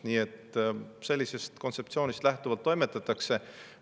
Sellisest kontseptsioonist lähtuvalt toimetatakse.